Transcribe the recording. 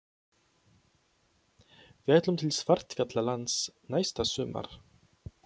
Við ætlum til Svartfjallalands næsta sumar.